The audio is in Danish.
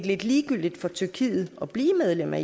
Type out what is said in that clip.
lidt ligegyldigt for tyrkiet at blive medlem af